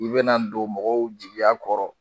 U bɛna don mɔgɔw jigiya kɔrɔ